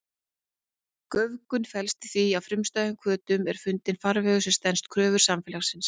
Göfgun felst í því að frumstæðum hvötum er fundinn farvegur sem stenst kröfur samfélagsins.